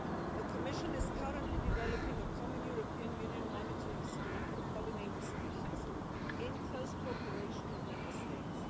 The Commission is currently developing a common European Union monitoring scheme for pollinator species in close cooperation with Member States.